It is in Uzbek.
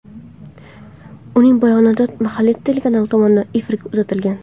Uning bayonoti mahalliy telekanal tomonidan efirga uzatilgan.